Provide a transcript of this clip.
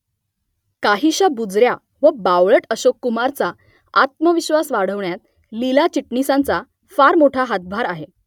काहीशा बुजऱ्या व बावळट अशोककुमारचा आत्मविश्वास वाढवण्यात लीला चिटणीसांचा फार मोठा हातभार आहे